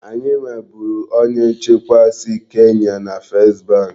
Anyị nweburu onye nchekwa si Kenya na First bank.